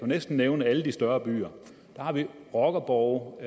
næsten nævne alle de større byer rockerborge og